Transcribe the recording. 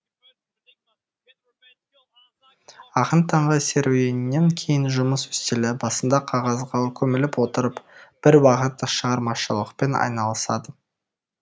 ақын таңғы серуеннен кейін жұмыс үстелі басында қағазға көміліп отырып бір уақыт шығармашылықпен айналысады